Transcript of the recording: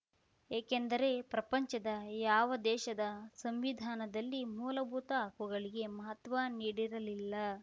ಏಕೆಂದರೆ ಪ್ರಪಂಚದ ಯಾವ ದೇಶದ ಸಂವಿಧಾನದಲ್ಲಿ ಮೂಲಭೂತ ಹಕ್ಕುಗಳಿಗೆ ಮಹತ್ವ ನೀಡಿರಲಿಲ್ಲ